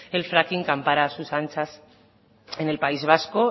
el fracking campara a sus anchas en el país vasco